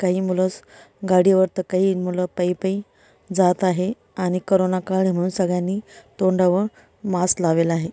काही मुलं गाडीवर तर काही मुलं पई-पई जात आहे आणि करोंना काळ आहे म्हणून सगळ्यांनी तोंडावर मास्क लावेले आहे.